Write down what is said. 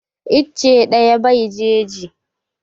Icce ɗaya bai jeji